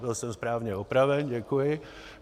Byl jsem správně opraven, děkuji.